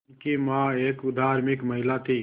उनकी मां एक धार्मिक महिला थीं